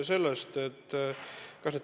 Aitäh!